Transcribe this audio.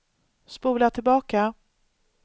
spola tillbaka